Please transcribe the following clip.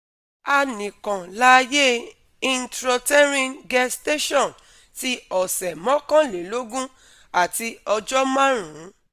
A nikan laaye intrauterine gestation ti ọsẹ mọ́kànlélógún ati ọjọ marun